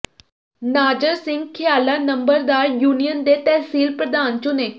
ਨਾਜ਼ਰ ਸਿੰਘ ਿਖ਼ਆਲਾ ਨੰਬਰਦਾਰ ਯੂਨੀਅਨ ਦੇ ਤਹਿਸੀਲ ਪ੍ਰਧਾਨ ਚੁਣੇ